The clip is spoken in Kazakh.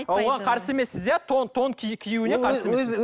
оған қарсы емессіз иә тон тон ки киюіне қарсы емессіз